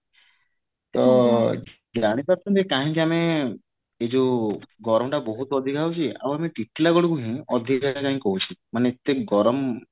ତ ଜାଣିପାରୁଛନ୍ତି କାହିଁକି ଏଇ ଯୋଉ ଗରମ ଟା ବହୁତ ଅଧିକ ହୋଉଛି ଆଉ ଆମ ଟିଟିଲାଗଡ କୁ ହି ଅଧିକ କାଇ କହୁଛି ମାନେ ଏତେ ଗରମ